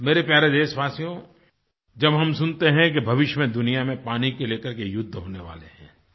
मेरे प्यारे देशवासियो जब हम सुनते हैं कि भविष्य में दुनियाँ में पानी को लेकर के युद्ध होने वाले हैं